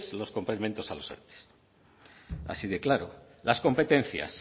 los complementos a los erte así de claro las competencias